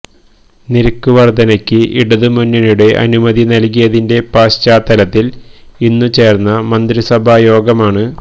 നിരക്കു വർധനയ്ക്ക് ഇടതു മുന്നണിയുടെ അനുമതി നൽകിയതിന്റെ പശ്ചാത്തലത്തിൽ ഇന്നു ചേർന്ന മന്ത്രിസഭായോഗമാണ്